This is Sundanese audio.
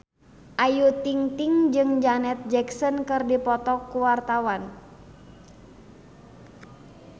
Ayu Ting-ting jeung Janet Jackson keur dipoto ku wartawan